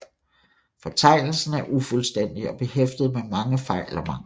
Fortegnelsen er ufuldstændig og behæftet med mange fejl og mangler